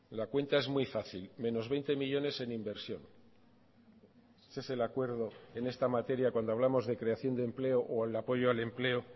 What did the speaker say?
la cuenta es muy fácil menos veinte millónes en inversión ese es el acuerdo en esta materia cuando hablamos de creación de empleo o el apoyo al empleo